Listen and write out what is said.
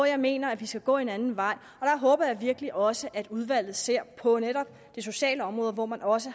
jeg mener at vi skal gå en anden vej og jeg håber virkelig også at udvalget ser på netop det sociale område hvor man også